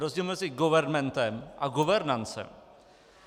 Rozdíl mezi governmentem a governancem.